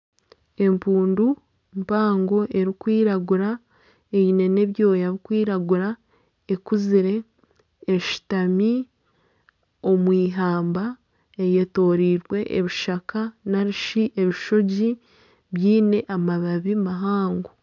Empundu mpango erikwiragura eine n'ebyoya ebirikwiragura ekuzire eshutami omwihamba eyetorirwe ebishaka narishi ebishugi byine amabaabi mahango.